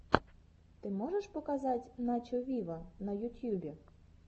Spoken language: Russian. ты можешь показать начо виво на ютьюбе